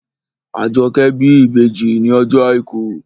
Àjọkẹ́ bí ìbejì ní ọjọ́ àìkú